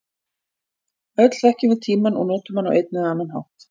Öll þekkjum við tímann og notum hann á einn eða annan hátt.